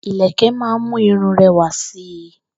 Ìlẹ̀kẹ̀ ma ń mú irun rẹwà si.